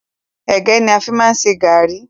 Ẹ̀gẹ́ ni a fi máa ń ṣe garri